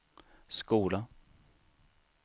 skola